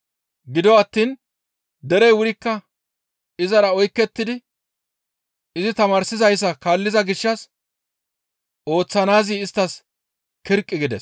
Gido attiin derey wurikka izara oykettidi izi tamaarsizayssa kaalliza gishshas ooththanaazi isttas kirqi gides.